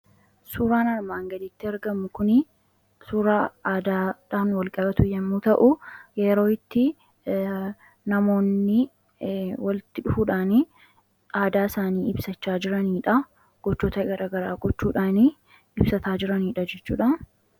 suuraan armaangalitti argamu kun suuraa aadaadhaan walqabatu yommuu ta'u yeroo itti namoonni waltti dhufuudhaanii aadaa isaanii ibsachaa jiraniidha qochoota ggara quchuudhaanii ibsataa jiraniidha jechuudha